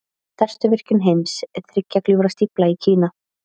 Stærsta virkjun heims, Þriggja gljúfra stífla í Kína.